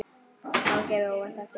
Að hún gefi óvænt eftir.